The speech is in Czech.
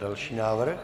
Další návrh.